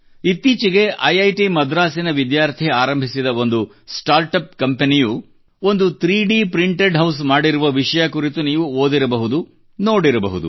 ಇತ್ತೀಚೆಗೆ ಐಐಟಿ ಮದ್ರಾಸಿನ ವಿದ್ಯಾರ್ಥಿ ಆರಂಭಿಸಿದ ಒಂದು ಸ್ಟಾರ್ಟ್ ಅಪ್ ಕಂಪೆನಿಯು ಒಂದು 3D ಪ್ರಿಂಟೆಡ್ ಹೌಸ್ ಮಾಡಿರುವ ವಿಷಯ ಕುರಿತು ನೀವು ಓದಿರಬಹುದು ನೋಡಿರಬಹುದು